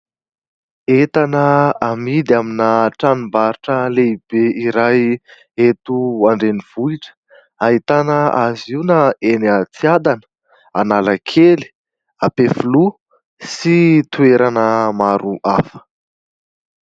Entana amidy amina tranombarotra lehibe iray eto andrenivohitra ahitana azy io na eny a Tsiadana Analakely Ampefiloha sy toerana maro hafa